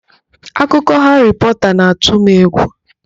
Akụkọ Haarị Pọta na-atụ m egwu.